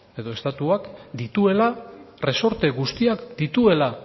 edo estatuak dituela erresorte guztiak dituela